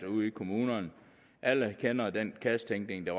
ude i kommunerne alle kender til den kassetænkning der